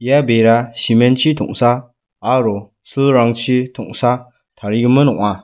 ia bera cement-chi tongsa aro silrangchi tongsa tarigimin ong·a.